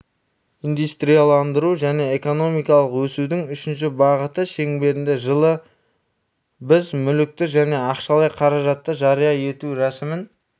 индустрияландыру және экономикалық өсудің үшінші бағыты шеңберінде жылы біз мүлікті және ақшалай қаражатты жария ету рәсімін